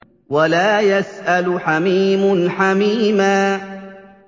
وَلَا يَسْأَلُ حَمِيمٌ حَمِيمًا